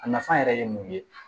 A nafa yɛrɛ ye mun ye